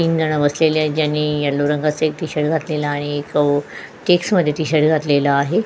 तीनजण बसलेली आहेत ज्यांनी येल्लो रंगाच एक टी शर्ट घातलेला आहे एक चॅक्समध्ये टी शर्ट घातलेला आहे.